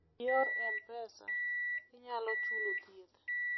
e yor mpesa, inyalo chulo thieth